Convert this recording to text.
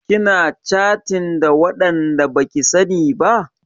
Kina catin da waɗanda baki sani ba?